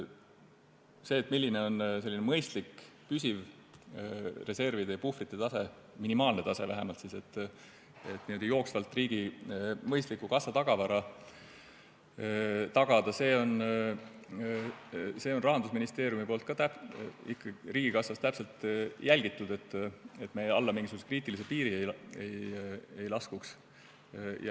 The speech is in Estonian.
Seda, milline on mõistlik püsiv reservide ja puhvrite tase, minimaalne tase vähemalt, et jooksvalt riigi mõistlikku kassatagavara tagada, Rahandusministeerium riigikassas ikkagi täpselt jälgib, et me alla kriitilise piiri ei laskuks.